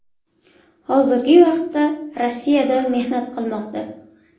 Hozirgi vaqtda Rossiyada mehnat qilmoqda.